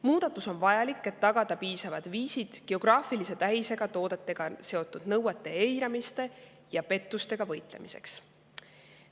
Muudatus on vajalik, et tagada piisavad viisid geograafilise tähisega toodetega seotud nõuete eiramise ja pettustega võitlemiseks.